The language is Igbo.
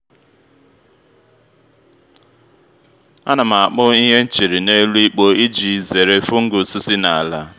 a na m akpụ ihe m chịrị n’elu ikpo iji zere fungus si na’ala